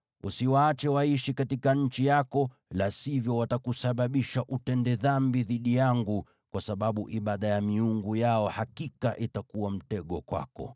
Usiwaache waishi katika nchi yako, la sivyo watakusababisha utende dhambi dhidi yangu, kwa sababu ibada ya miungu yao hakika itakuwa mtego kwako.”